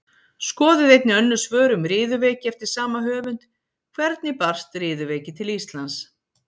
Skoðið einnig önnur svör um riðuveiki eftir sama höfund: Hvernig barst riðuveiki til Íslands?